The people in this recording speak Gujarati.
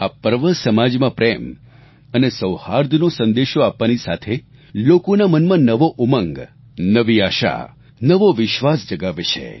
આ પર્વ સમાજમાં પ્રેમ અને સૌહાર્દનો સંદેશો આપવાની સાથે લોકોના મનમાં નવો ઉમંગ નવી આશા નવો વિશ્વાસ જગાવે છે